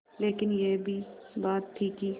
लेकिन यह भी बात थी कि